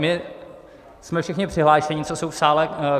My jsme všichni přihlášeni, co jsou v sále.